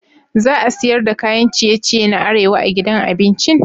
Za a siyar da kayan ciye-ciye na arewa a gidan abincin?